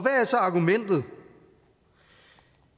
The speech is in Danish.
er så argumentet